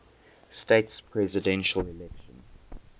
states presidential election